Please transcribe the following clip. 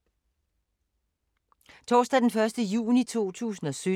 Torsdag d. 1. juni 2017